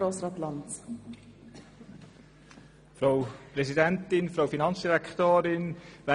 Ich gebe das Wort noch einmal dem Motionär.